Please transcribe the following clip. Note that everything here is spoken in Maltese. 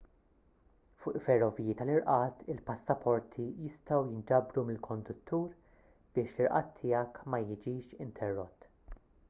fuq ferroviji tal-irqad il-passaporti jistgħu jinġabru mill-konduttur biex l-irqad tiegħek ma jiġix interrott